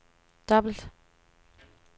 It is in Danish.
dobbelt